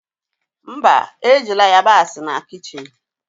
Mba, ejila yabasị na kichin